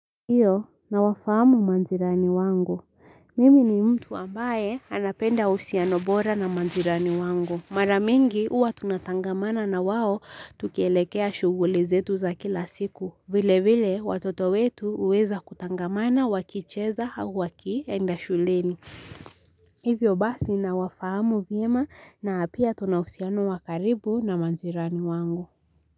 Iyo nawafahamu majirani wangu. Mimi ni mtu ambaye anapenda uhusiano bora na majirani wangu. Mara mingi huwa tunatangamana na wao tukielekea shughuli zetu za kila siku. Vile vile watoto wetu huweza kutangamana wakicheza au wakienda shuleni. Hivyo basi nawafahamu vyema na pia tuna uhusiano wakaribu na majirani wangu.